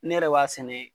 Ne yɛrɛ b'a sɛnɛ